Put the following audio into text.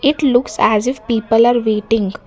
It looks as if people are waiting.